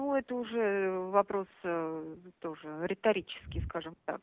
нуу это уже вопрос тоже риторический скажем так